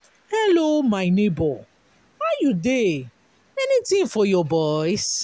hello my nebor how you dey? anytin for your boys?